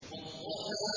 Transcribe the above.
وَالضُّحَىٰ